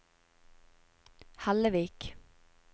Hellevik